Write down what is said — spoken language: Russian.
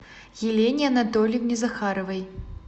елене анатольевне захаровой